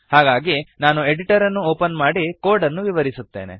ಹಾಗಾಗಿ ನಾನು ಎಡಿಟರ್ ಅನ್ನು ಒಪನ್ ಮಾಡಿ ಕೋಡ್ ಅನ್ನು ವಿವರಿಸುತ್ತೇನೆ